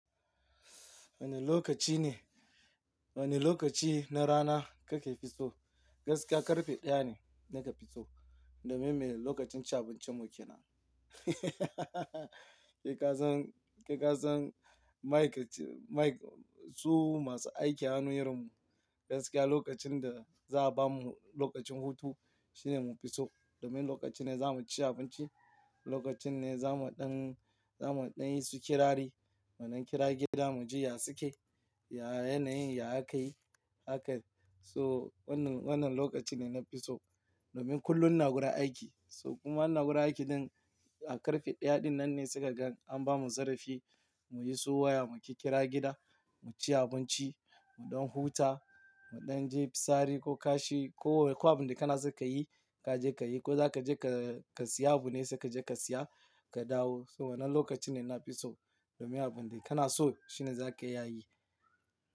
Woni lokaci ne, woni lokaci na rana kake facebook? Gaskiya karfe ɗaya ne naka fitso domin me lokacin cin abincinmu ke nan. Kai kasan, kai kasan Maikace, Mike su masu aiki a hannun irin mu, gaskiya lokacin da za a bamu lokacin hutu shine mun fi so domin lokacin ne za mu ci abinci, lokacin ne za mu ɗan, za mu ɗan yi su kirari, waɗan kira gida mu ji ya suke, ya yanayin ya aka yi haka. So wannan, wannan lokacin ne na fi so domin kullum ina gurin aiki. So kuma wannan guri aiki ɗin a karfe ɗaya ɗin nan ne sai ka ga an bamu zarafi mu yi su waya mu ƙi ƙira gida, mu ci abinci, mu ɗan huta, mu ɗan je fitsari ko kashi ko ko abin da kana so ka yi ka je ka yi ko za ka je ka, ka siya abu ne sai ka je ka siya ka dawo. So wannan lokacin ne na fi so domin abin da kana so shine za ka iya yi.